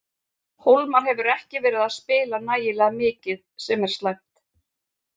Hólmar hefur ekki verið að spila nægilega mikið sem er slæmt.